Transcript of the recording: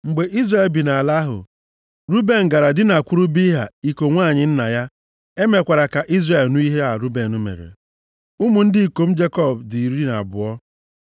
Mgbe Izrel bi nʼala ahụ, Ruben gara dinakwuru Bilha, iko nwanyị nna ya. E mekwara ka Izrel nụ ihe a Ruben mere. Ụmụ ndị ikom Jekọb dị iri na abụọ.